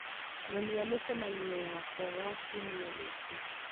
nyonia mĩcemanio yakwa ya kiumia gĩkĩ